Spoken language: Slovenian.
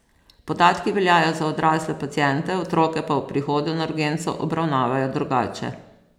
Podatki veljajo za odrasle paciente, otroke pa ob prihodu na urgenco obravnavajo drugače.